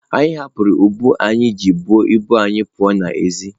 anyị hapụrụ ụgbọ anyị ji ebu ibu anyị pụọ n'èzí.